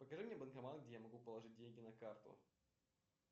покажи мне банкомат где я могу положить деньги на карту